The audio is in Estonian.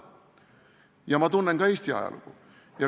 Ja ma tunnen ka Eesti ajalugu.